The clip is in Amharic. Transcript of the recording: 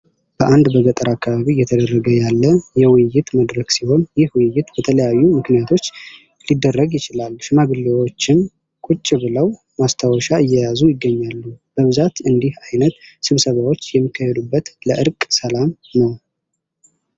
በአንድ በገጠር አካባቢ እየተደረገ ያለ የውይይት መድረክ ሲሆን ይህ ውይይት በተለያዩ ምክንያቶች ሊደረግ ይችላል ሽማግሌዎችም ቁጭ ብለው ማስታወሻ እየያዙ ይገኛሉ። በብዛት እንዲህ አይነት ስብሰባዎች የሚካሄዱት ለእረቀ ሰላም ነው ።